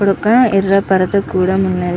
ఇక్కడ ఒక యెర్ర పరుసు కూడా ఉన్నది.